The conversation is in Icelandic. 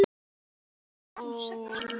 Ugla gefur út.